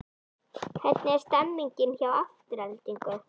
Hvernig er stemningin hjá Aftureldingu?